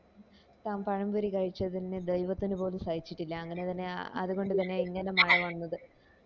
താൻ പഴം പൊരി കഴിച്ചതിന് ദൈവത്തിന് പോലും സഹിച്ചിട്ടില്ല അങ്ങനെ തന്നേയ് അത് കൊണ്ട് തന്നേയ ഇങ്ങനെ മഴ വന്നത്